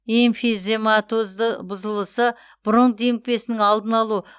эмфизематозды бұзылысы бронх демікпесінің алдын алу